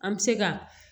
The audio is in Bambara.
An bɛ se ka